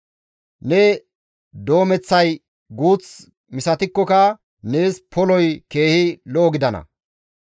Ne doomeththay guuth misatikkoka, nees poloy keehi lo7o gidana.